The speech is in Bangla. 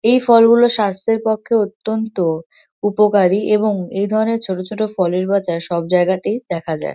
এই ফলগুলো স্বাস্থ্যের পক্ষে অত্যন্ত উপকারী এবং এ ধরনের ছোট ছোট ফলের বাজার সব জায়গাতেই দেখা যায়।